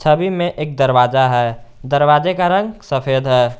सभी में एक दरवाजा है दरवाजे का रंग सफेद है।